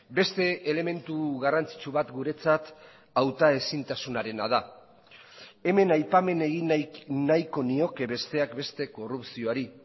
beste elementu garrantzitsu bat guretzat hautaezintasunarena da hemen aipamen egin nahiko nioke besteak beste korrupzioari